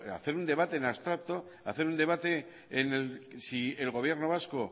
hacer un debate en abstracto hacer un debate en el si el gobierno vasco